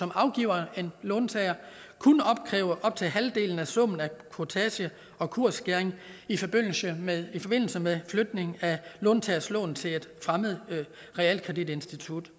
afgiver en låntager kun opkræve op til halvdelen af summen af kurtage og kursskæring i forbindelse med forbindelse med flytning af låntagers lån til et fremmed realkreditinstitut